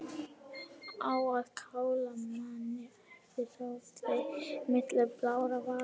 Á að kála manni æpti Tóti milli blárra vara.